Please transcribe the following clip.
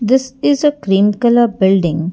this is a cream colour building.